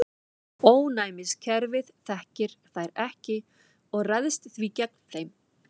Ónæmiskerfið þekkir þær ekki og ræðst því gegn þeim.